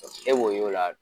E b'o y'o la